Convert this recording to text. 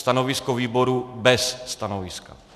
Stanovisko výboru: bez stanoviska.